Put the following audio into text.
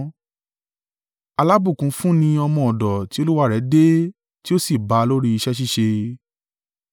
Alábùkún fún ni ọmọ ọ̀dọ̀ ti olúwa rẹ̀ dé tí ó sì bá a lórí iṣẹ́ ṣíṣe.